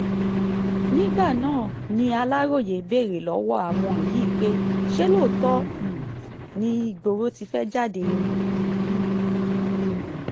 nígbà náà ni aláròye béèrè lọ́wọ́ àwọn yìí pé ṣé lóòótọ́ um ni ìgboro ti fẹ́ẹ́ jáde ni um